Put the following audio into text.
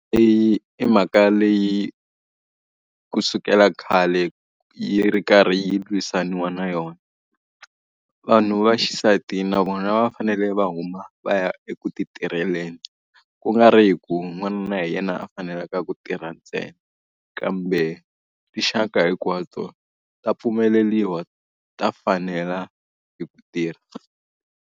Leyi i mhaka leyi kusukela khale yi ri karhi yi lwisaniwa na yona. Vanhu va xisati na vona va fanele va huma va ya eku ti tirheleni. Ku nga ri hi ku n'wanuna hi yena a fanelaka ku tirha ntsena, kambe tinxaka hinkwato ta pfumeleriwa, ta fanela hi ku tirha.